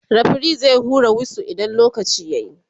referee zai hura wisu idan lokaci yayi